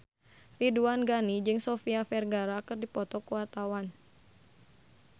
Ridwan Ghani jeung Sofia Vergara keur dipoto ku wartawan